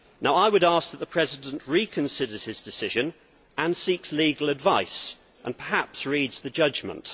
I would ask that the President reconsider his decision, seek legal advice and perhaps read the judgment.